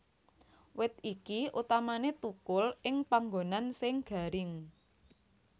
Wit iki utamané thukul ing panggonan sing garing